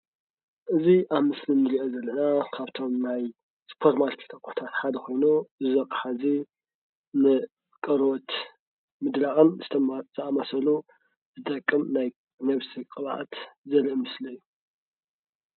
እዚ ኣብ ዚ ምስሊ ንሪኦ ዘለና ካብቶም ናይ ሱፐር ማርኬት ኣቁሕታት ሓደ ኮይኑ እዚ ኣቃሓ እዙይ ንቆርበት ምድራቕን ዝጠቅም ናይ ነብሲ ቕባኣት ዘርእ ምስሊ እዩ።